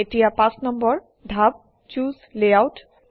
এতিয়া ৫ নম্বৰ ধাপ - চুচে Layout